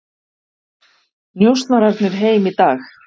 Njósnararnir heim í dag